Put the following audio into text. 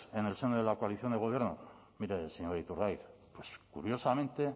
en el seno de la coalición de gobierno mire señor iturgaiz pues curiosamente